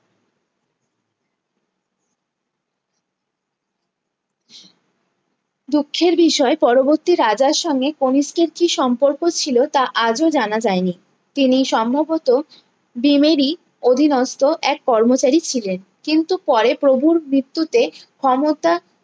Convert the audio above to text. দুঃখের বিষয়ে পরবর্তী রাজার সঙ্গে কণিষ্কের কি সম্পর্ক ছিলো তা আজও জানা যায় নি তিনি সম্ভবত ভীম এরই অধীনস্ত এক কর্মচারী ছিলেন কিন্তু পরে প্রভুর মৃত্যুতে ক্ষমতা